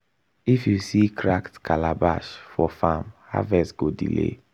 if you see cracked calabash for farm harvest go delay.